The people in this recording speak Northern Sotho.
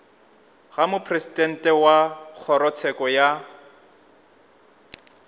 ga mopresidente wa kgorotsheko ya